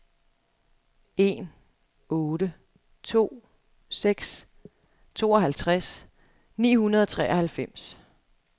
en otte to seks tooghalvtreds ni hundrede og treoghalvfems